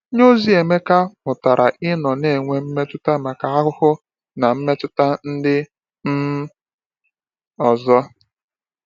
Onyeozi Emeka mụtara ịnọ na-enwe mmetụta maka ahụhụ na mmetụta ndị um ọzọ.